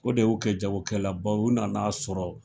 O de y'u kɛ jagokɛlabaw, u nan'a sɔrɔ